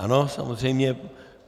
Ano, samozřejmě.